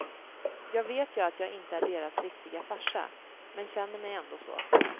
Jag vet ju att jag inte är deras riktiga farsa, men känner mig ändå så.